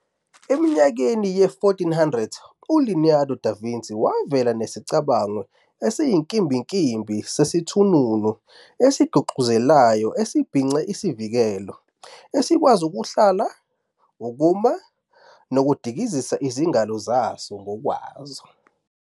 Eminyakeni ye-1400, uLeonardo da Vinci wavela nesicabango esiyinkimbinkimbi sesithununu esiguxazelayo esibhince izivikelo, esikwazi ukuhlala, ukuma, nokudikizisa izingalo zaso ngokwaso.